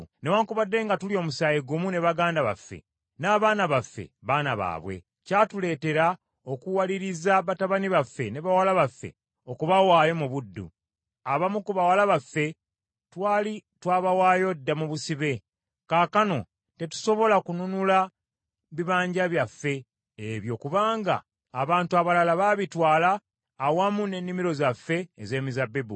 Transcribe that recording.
Newaakubadde nga tuli omusaayi gumu ne baganda baffe, n’abaana baffe baana baabwe, kyatuleetera okuwaliriza batabani baffe ne bawala baffe okubawaayo mu buddu. Abamu ku bawala baffe twali twabawaayo dda mu busibe; kaakano tetusobola kununula bibanja byaffe ebyo kubanga abantu abalala baabitwala awamu n’ennimiro zaffe ez’emizabbibu.”